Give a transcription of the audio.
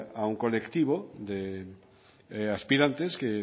a un colectivo de aspirantes que